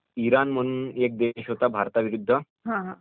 Iran म्हणून एक देश होता भारत विरुद्ध